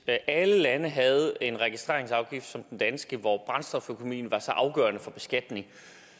alle lande havde en registreringsafgift som den danske hvor brændstoføkonomien var så afgørende for beskatningen